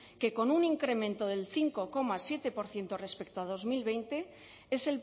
que con un incremento del cinco coma siete por ciento respecto a dos mil veinte es